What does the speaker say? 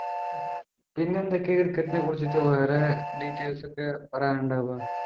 പിന്നെന്തൊക്കെയാ cricket നെ കുറിച്ചിട്ട് വേറെ details ഒക്കെ പറയാനുള്ളേ ഇപ്പൊ